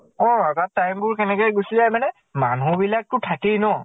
অ তাত time বোৰ কেনেকে গুছি যায় মানে, মানুহ বিলাকটো থাকেই ন